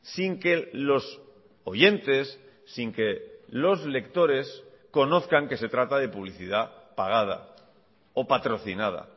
sin que los oyentes sin que los lectores conozcan que se trata de publicidad pagada o patrocinada